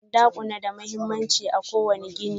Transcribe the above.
Bandakuna na da mahimmanci a ƙowane gini